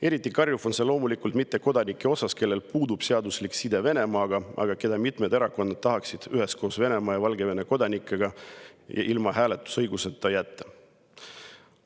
Eriti karjuv on see loomulikult mittekodanike puhul, kellel puudub seaduslik side Venemaaga, aga keda mitmed erakonnad tahaksid koos Venemaa ja Valgevene kodanikega ilma hääletusõiguseta jätta.